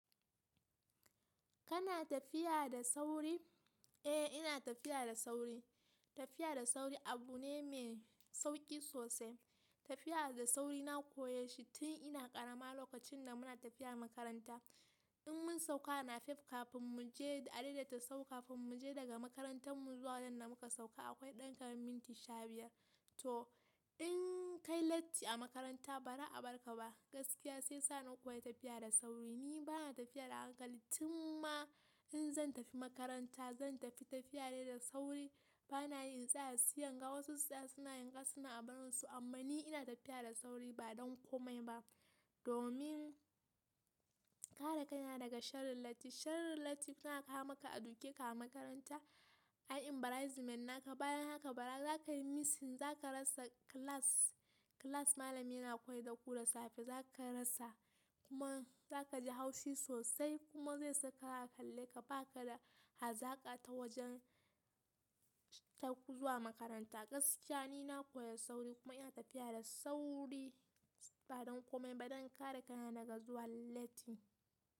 Kana tafiya da sauri? Eh ina tafiya da sauri. Tafiya da sauri abu ne mai sauƙi sosai. Tafiya da sauri na koye shi tun ina ƙarama lokacin da muna tafiya makaranta. In mun sauka a napep kafin mu je, a daidaita sau kafin mu je daga makarantar mu zuwa wajen da muka sauka akwai ɗan kaman minti sha biyar. To in kai latti a makaranta ba za a bar ka ba. Gaskiya sai yasa na koya tafiya da sauri. Ni bana tafiya da hankali tun ma in zan tafi makaranta zan tafi tafiya dai da sauri. Bana yin in tsaya, sai inga wasu su tsaya suna yanga suna yin abunsu amma ni ina tafiya da sauri ba don komai ba domin kare kaina daga sharrin latti. Sharrin latti suna kawo maka a duke ka a makaranta, a yi embarrassment naka. Bayan haka bara za ka yi missing, za ka rasa class, class malami yana koyar da ku da safe za ka rasa kuma za ka ji haushi sosai kuma zai saka kalle ka baka da hazaƙa ta wajen zuwa makaranta. Gaskiya ni na koyi sauri kuma ina tafiya da sauri ba don komai ba don kare kaina daga zuwa latti.